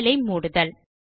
file ஐ மூடுதல்